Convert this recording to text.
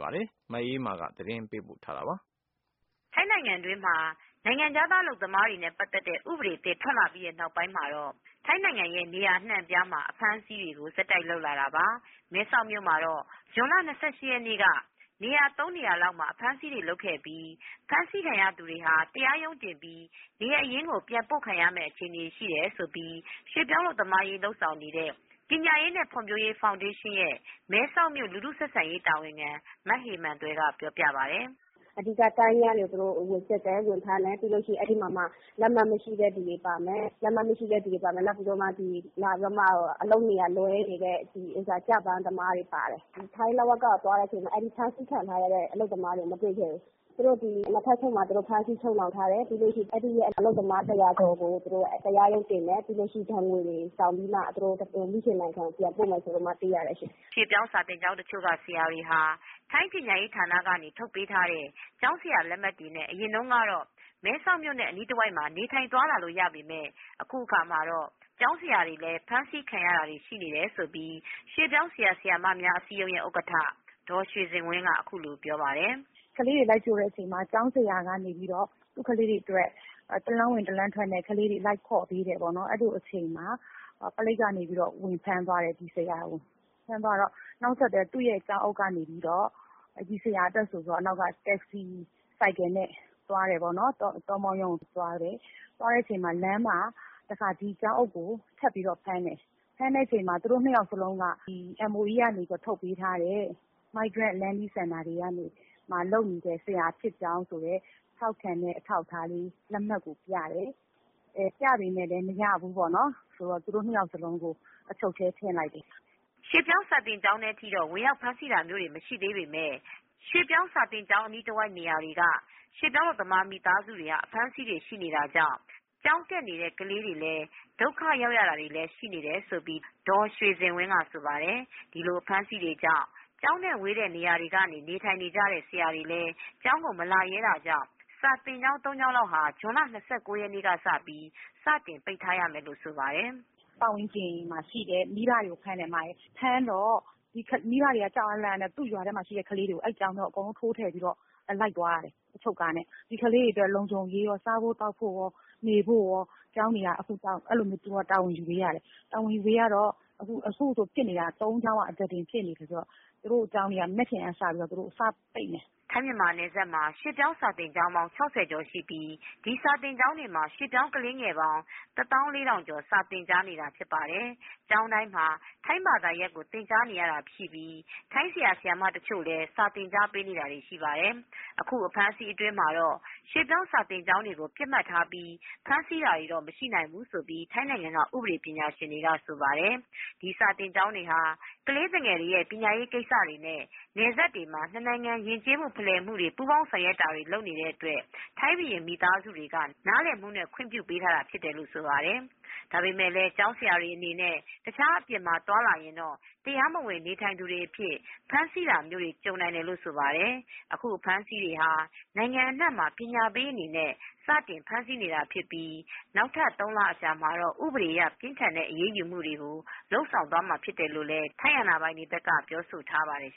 ပါတယ်။ မအေးအေးမာ သတင်းပေးပို့ ထားပါတယ်။ ထိုင်းနိုင်ငံတွင်းမှာ နိုင်ငံခြားသား အလုပ်သမားတွေနဲ့ ပတ်သက်တဲ့ ဥပဒေသစ် ထွက်လာပြီး နောက်ပိုင်းမှာတော့ ထိုင်းနိုင်ငံ နေရာအနှံ့အပြားမှာ အဖမ်းအဆီးတွေကို လုပ်လာတာပါ။ မဲဆောက်မြို့မှာတော့ ဇွန်လ ၂၈ ရက်နေ့က နေရာ ၃ နေရာလောက်မှာ အဖမ်းအဆီးတွေ လုပ်ခဲ့ပြီး ဖမ်းဆီးခံရသူတွေဟာ တရားရုံးတင်ပြီး နေရပ်ရင်းကို ပြန်ပို့မယ့် အခြေအနေ ရှိတယ်လို့ ရွှေ့ပြောင်း အလုပ်သမားရေး လုပ်ဆောင်နေတဲ့ ပညာရေးနဲ့ ဖွံ့ဖြိုးရေး ဖောင်ဒေးရှင်းရဲ့ မဲဆောက်မြို့ လူထုဆက်ဆံရေး တာဝန်ခံ မဟေမာန်သွယ်က ပြောပါတယ်။ အဓိက ကတန်းလျားတွေကို ဝင်ဖမ်းသွားတယ်။။ စက်ရုံတွေကျတော့ မဖမ်းသေးဘူး။ အဓိက တန်းလျားတွေကို သူတို့ ဝင်စစ်တယ်၊ ဝင်ဖမ်းတယ်။ ပြီးလို့ရှိရင် အဲဒီမှာမှ လက်မှတ်မရှိတဲ့ သူတွေပါမယ်။ နောက်ပြီးတော့မှ ဒီ လာပြီးတော့မှ အလုပ်နေရာ လွဲနေတဲ့ကျပမ်းသမားတွေ ပါတယ်။ ထိုင်း လဝက က သွားတဲ့အချိန်မှာ အဲဒီ ဖမ်းဆီးခံထားရတဲ့ အလုပ်သမားတွေ မတွေ့ခဲ့ဘူး။ သူတို့ ဒီ ၂ ထပ် အချုပ်နဲ့ ၂ ထပ်အချုပ်မှာ သူတို့ ဖမ်းဆီး ချုပ်နှောင် ထားတယ်။ ပြီးလို့ရှိရင် အဲဒီအလုပ်သမားတွေကို ပေါ့နော် အလုပ်သမား ၂၀၀ ကျော်ကို သူတို့ တရားရုံတင်မယ် ပြီးလို့ရှိရင် ဒဏ်ငွေတွေ ဆောင်ပြီးတော့မှ မိခင်နိုင်ငံပြန်ပို့မယ် ဆိုပြီးတော့ သိရတယ်ရှင့်။ ” ရွှေ့ပြောင်း ကျောင်းတချို့က ဆရာတွေဟာ ထိုင်းပညာရေး ဌာနက ထုတ်ထားပေးတဲ့ ကျောင်းဆရာ လက်မှတ်တွေနဲ့ မဲဆောက် အနီးတဝိုက်မှာ နေထိုင် သွားလာလို့ ရပေမယ့် အခုအခါမှာတော့ ကျောင်းဆရာတွေလည်း ဖမ်းဆီးခံနေရတယ်လို့ ရွှေ့ပြောင်း ဆရာ ဆရာမများ အစည်းအရုံးရဲ့ ဥက္ကဌ ဒေါ်ရွှေစင်ဝင်းက အခုလို ပြောပါတယ်။ ကလေးတွေ လိုက်ကြိုတဲ့ အချိန်မှာ ကျောင်းဆရာက နေပြီးတော့ သူ့ကလေးတွေ အတွက် တလမ်းဝင် တလမ်းထွက်နဲ့ ကလေးတွေ လိုက်ခေါ်ပေးတယ် ပေါ့နော်။ အဲလိုအချိန်မှာ ပလိပ်ကနေပြီးတော့ ဝင်ဖမ်းသွားတယ် ဒီဆရာကို။ နောက်ဆက်တွဲ သူ့ရဲ့ ကျောင်းအုပ်က နေပြီးတော့ ဒီဆရာအတွက် ဆိုပြီးတော့ နောက်က Taxi ဆိုင်ကယ်နဲ့ သွားတယ်ပေါ့နော်။ တောမောရုံးကို သွားတယ်။ သွားတဲ့အချိန်မှာ လမ်းမှာ တခါ ဒီကျောင်းအုပ်ကို ပေါ့နော် ထပ်ပြီးတော့ ဖမ်းတယ်။ ဖမ်းတဲ့အချိန်မှာ သူတို့ ၂ ယောက်စလုံးက ဒီ MOE ကနေ ထုတ်ပေးထားတဲ့ ဒီ Migrant Learning Center တွေမှာ လုပ်နေတဲ့ ဆရာဖြစ်ကြောင်း ဆိုတဲ့ ထောက်ခံတဲ့ အထောက်အထားလေး လက်မှတ်ကိုပြတယ်။ အဲ ပြပေမဲ့လည်း မရဘူးပေါ့နော်။ ပြီးတော့ သူတို့ ၂ ယောက်စလုံးကို အချုပ်ထဲ ထည့်လိုက်တယ်။ ” ရွှေ့ပြောင်း စာသင်ကျောင်းထဲထိတော့ ဝင်ရောက် ဖမ်းဆီးတာမျိုးတွေ မရှိသေးပေမယ့် ရွှေ့ပြောင်းစာသင်ကျောင်းတွေ အနီးတဝိုက် နေရာတွေကနေ ရွှေ့ပြောင်း မိသားစုတွေ အဖမ်းအဆီးတွေ ရှိတာကြောင့် ကျောင်းတက်နေတဲ့ ကလေးတွေလည်း ဒုက္ခရောက်ရတာ တွေလည်း ရှိနေတယ်လို့ ဒေါ်ရွှေစင်ဝင်းက ဆိုပါတယ်။ ဒီလို အဖမ်းအဆီးတွေကြောင့် ကျောင်းနဲ့ ဝေးတဲ့ နေရာတွေမှာ နေထိုင်ကြတဲ့ ဆရာတွေလည်း ကျောင်းကို မလာရဲကြ တာကြောင့် စာသင်ကျောင်း ၃ ကျောင်းလောက် ဇွန်လ ၂၉ရက်နေ့က စပြီး စတင်ပိတ်ထားရမယ်လို့ ဆိုပါတယ်။ “ ပတ်ဝန်းကျင်မှာ ရှိတဲ့ မိဘ တွေကိုဖမ်းတယ်။ ဖမ်းတော့ မိဘတွေက ကြောက်အား လန့်အားနဲ့ သူ့ရွာထဲမှာ ရှိတဲ့ ကလေးတွေကို အဲဒီကျောင်းထဲကို အကုန်လုံး ထိုးထည့် ပြီးတော့ လိုက်သွားရတယ်။ အချုပ်ကားနဲ့။ ဒီကလေးတွေအတွက် လုံခြုံရေးကော စားဖို့ သောက်ဖို့ကော နေဖို့ကောကျောင်းတွေက အခု အဲလိုမျိုး တာဝန်ယူပေးရတယ်။ အဲလို တာဝန်ယူပေးရတော့ အခုအဲလိုဖြစ်နေတာ သုံးကျောင်းက အသားတင် ဖြစ်နေတော့ သူတို့ကျောင်းတွေက မနက်ဖြန်က စပြီးတော့စပိတ်မယ်။” ထိုင်းမြန်မာနယ်စပ်မှာ ရွှေ့ပြောင်း စာသင်ကျောင်းပေါင်း ၆၀ ကျော် ရှိပြီး အဲဒီ စာသင်ကျောင်းတွေမှာ ရွှေ့ပြောင်း ကလေးငယ်ပေါင်း ၁၄,၀၀၀ ကျော် စာသင်ကြားနေတာ ဖြစ်ပါတယ်။ ကျောင်းတိုင်းမှာ ထိုင်းဘာသာ သင်ကြားရတာ ရှိပြီး ထိုင်း ဆရာ၊ ဆရာမ တချို့လည်း စာသင်ပေးနေတာတွေ ရှိပါတယ်။ အခု အဖမ်းအဆီးတွင်းမှာတော့ ရွှေ့ပြောင်းစာသင်ကျောင်းတွေကို ပစ်မှတ်ထားပြီး ဖမ်းဆီးတာတွေ မရှိနိုင်ဘူးလို့ ထိုင်းနိုင်ငံ ဥပဒေ ပညာရှင်တွေကတော့ ဆိုပါတယ်။ ဒီစာသင်ကျောင်းတွေဟာ ကလေးသူငယ် ပညာရေး ကိစ္စတွေနဲ့ နယ်စပ်တွေမှာ နှစ်နိုင်ငံ ယဉ်ကျေးမှု ဖလှယ်မှုတွေ ပူးပေါင်း ဆောင်ရွက်တာတွေ လုပ်နေတဲ့ အတွက် ထိုင်းဘုရင် မိသားစုတွေက နားလည်မှုနဲ့ ခွင့်ပြုထားတာ ဖြစ်တယ်လို့ ဆိုပါတယ်။ ဒါပေမယ့်လည်း ကျောင်းဆရာတွေ အနေနဲ့ တခြား အပြင်မှာ သွားလာရင်တော့ တရားမဝင် နေထိုင်သူတွေ အဖြစ် ဖမ်းဆီးတာမျိုးတွေ ကြုံနိုင်တယ်လို့ ဆိုပါတယ်။ အခု အဖမ်းအဆီးတွေဟာ နိုင်ငံ အနှံ့မှာ ပညာပေး အနေနဲ့ စတင် ဖမ်းဆီးနေတာ ဖြစ်ပြီး နောက်ထပ် သုံးလ အကြာမှာတော့ ဥပဒေ အရ ပြင်းထန်တဲ့ အရေးယူမှုတွေကို လုပ်ဆောင်သွားမှာ ဖြစ်တယ်လို့လည်း ထိုင်း အာဏာပိုင်တွေက ပြောဆိုထားပါတယ်